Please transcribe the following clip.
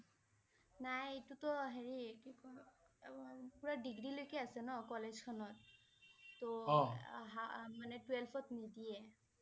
নাই এইটো টো হেৰি কি কয় আহ পুৰা ডিগ্ৰী লৈকে আছে ন কলেজ খনৰ তহ আহা~আহ Twelve ত নিদিয়ে।